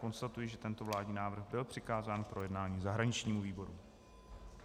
Konstatuji, že tento vládní návrh byl přikázán k projednání zahraničnímu výboru.